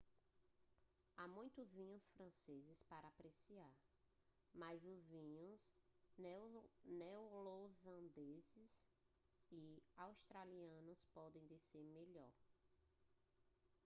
há muitos vinhos franceses para apreciar mas os vinhos neozelandeses e australianos podem descer melhor